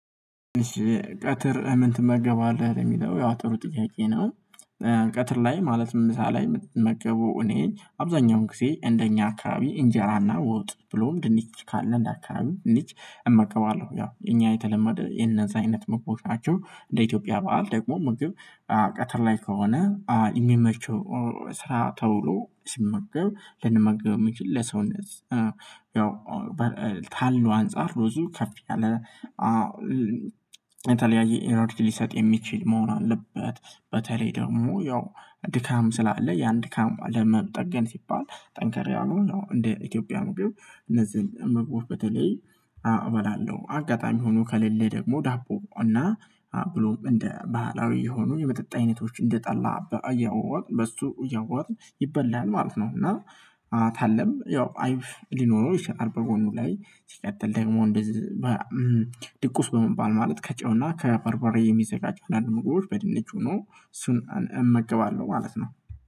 ቀትር ምን ትመገባለህ ለሚለው ያው ጥሩ ጥያቄ ነው? ቀትር ላይ ማለትም ምሳ ላይ የምትመገቡ እኔ አብዛኛውን ጊዜ እንደኛ አካባቢ እንጀራና ዎጥ ብሎም ድንች ካለ እንደ አካባቢ ድንች እመገባለሁ ያው እኛ የተለመደ የነዛ አይነት ምግቦች ናቸው እንደ ኢትዮጵያ በዓል ደግሞ ምግብ ቀተር ላይ ከሆነ የሚመቸው ስራ ተውሎ ሲመገብ ልንመገብ ምንችል ለሰውነት ያው ታልሎ አንፃር ሎዙም ከፍ ያለ ታለያየ ኢነርጂ ሊሰጥ የሚችል መሆን አለበት። በተለይ ደግሞ ያው ድካም ስላለ ያን ድካም ለመጠገን ሲባል ጠንከር ያሉ እንደ ኢትዮጵያ ነው ቢሆን እነዚህን መግባት በተለይ እበላለው አጋጣሚ ሆኖ ከሌለ ደግሞ ዳቦ እና ብሎም እንደ ባህላዊ የሆኑኝ የመጠጥ አይነቶች እንደ ጠላ በያወጥ በሱ እያወጥ ይበላል ማለት ነው። እና ታለም ያው አይብ ሊኖረው ይችላል በጎኑ ላይ ሲቀጥል ደግሞ እንደዚህ ድቁስ በመባል ማለት ከጨውና ከበርበሬ የሚዘጋጁ አንድ ምግቦች በድንች ሆኖ እሱን እመግባለሁ ማለት ነው